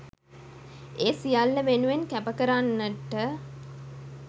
ඒ සියල්ල වෙනුවෙන් කැප කරන්නට